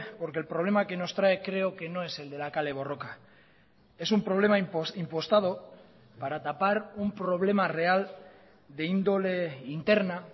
porque el problema que nos trae creo que no es el de la kale borroka es un problema impostado para tapar un problema real de índole interna